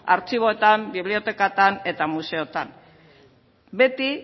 artxiboetan bibliotekatan eta museotan beti